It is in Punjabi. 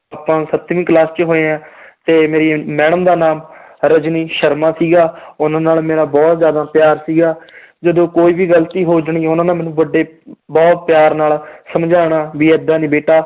ਆਪਾਂ ਸੱਤਵੀਂ class ਚ ਹੋਏ ਹਾਂ ਤੇ ਮੇਰੀ madam ਦਾ ਨਾਂ ਰਜਨੀ ਸ਼ਰਮਾ ਸੀਗਾ ਉਹਨਾਂ ਨਾਲ ਮੇਰਾ ਬਹੁਤ ਜ਼ਿਆਦਾ ਪਿਆਰ ਸੀਗਾ ਜਦੋਂ ਕੋਈ ਵੀ ਗ਼ਲਤੀ ਹੋ ਜਾਣੀ ਉਹਨਾਂ ਨੇ ਮੈਨੂੰ ਵੱਡੇ ਬਹੁਤ ਪਿਆਰ ਨਾਲ ਸਮਝਾਉਣਾ ਵੀ ਏਦਾਂ ਨੀ ਬੇਟਾ